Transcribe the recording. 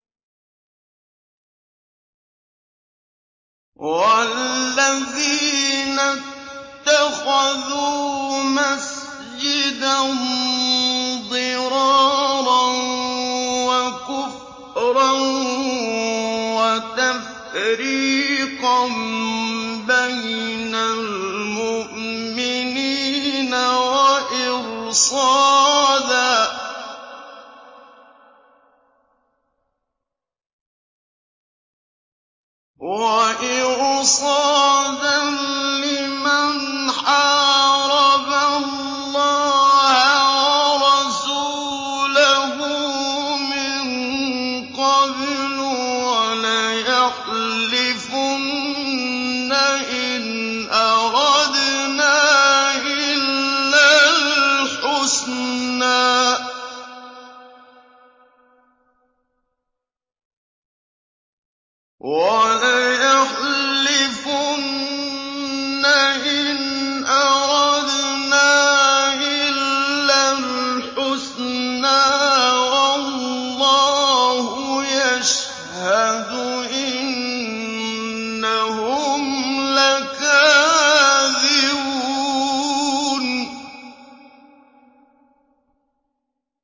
وَالَّذِينَ اتَّخَذُوا مَسْجِدًا ضِرَارًا وَكُفْرًا وَتَفْرِيقًا بَيْنَ الْمُؤْمِنِينَ وَإِرْصَادًا لِّمَنْ حَارَبَ اللَّهَ وَرَسُولَهُ مِن قَبْلُ ۚ وَلَيَحْلِفُنَّ إِنْ أَرَدْنَا إِلَّا الْحُسْنَىٰ ۖ وَاللَّهُ يَشْهَدُ إِنَّهُمْ لَكَاذِبُونَ